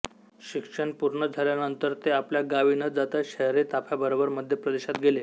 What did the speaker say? शिक्षण पूर्ण झाल्यानंतर ते आपल्या गावी न जाता शाहिरी ताफ्याबरोबर मध्य प्रदेशात गेले